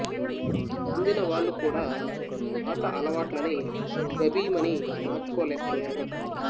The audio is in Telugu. అందిన వాళ్ళు కూడా పాత అలవాట్లని గభీ మని మార్చుకోలేకపోయారు